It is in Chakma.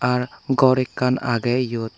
are gor ekkan agey eyot.